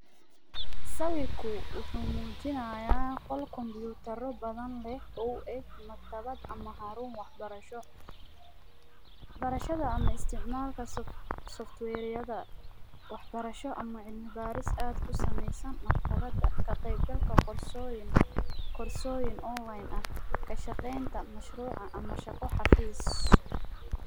Sawirku waxuu muujinayaa qol combutaro badan leh oo u eg maktabad ama xaruun wax barasho .Barashada ama isticmaalka software yada wax barasho ama cilmi baaris aad ku sameysan maktabada ,ka qeyb galka koorsooyin ,korsooyin online ah ,ka shaqeynta mashruuca ama shaqo xafiis .